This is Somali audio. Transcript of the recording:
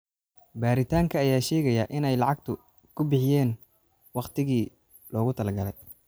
Baaritaanka ayaa sheegaya in ay lacagta ku bixiyeen waqtigii loogu talagalay